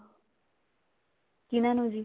ਕਿਹਨਾ ਨੂੰ ਜੀ